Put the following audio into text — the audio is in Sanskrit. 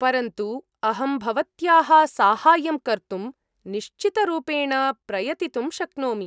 परन्तु अहं भवत्याः साहाय्यं कर्तुं निश्चितरूपेण प्रयतितुं शक्नोमि।